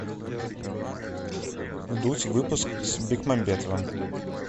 вдудь выпуск с бекмамбетовым